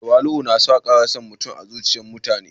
Tawali'u na kara son mutum a zuciyar mutane